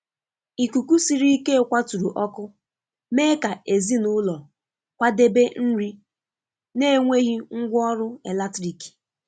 Ikuku siri ike kwaturu ọkụ, mee ka ezinụlọ kwadebe nri na-enweghị ngwá ọrụ eletrik.